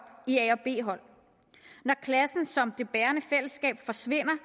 i a hold og b hold når klassen som det bærende fællesskab forsvinder